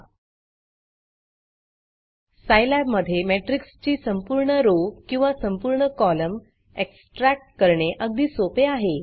Scilabसाईलॅब मधे matrixमेट्रिक्स ची संपूर्ण rowरो किंवा संपूर्ण कॉलम एक्सट्रॅक्ट करणे अगदी सोपे आहे